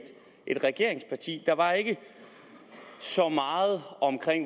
et regeringsparti der var ikke så meget om